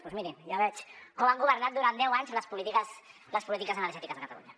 doncs mirin ja veig com han governat durant deu anys les polítiques energètiques a catalunya